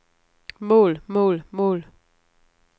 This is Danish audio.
mål mål mål